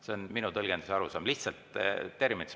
See on minu tõlgendus ja arusaam, lihtsalt terminitest rääkides.